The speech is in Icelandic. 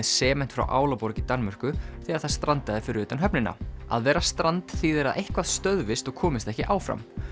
sement frá Álaborg í Danmörku þegar það strandaði fyrir utan höfnina að vera strand þýðir að eitthvað stöðvist og komist ekki áfram